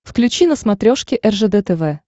включи на смотрешке ржд тв